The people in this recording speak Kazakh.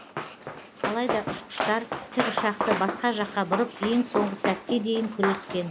алайда ұшқыштар тікұшақты басқа жаққа бұрып ең соңғы сәтке дейін күрескен